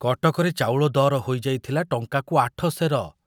କଟକରେ ଚାଉଳ ଦର ହୋଇଯାଇଥିଲା ଟଙ୍କାକୁ ଆଠ ସେର।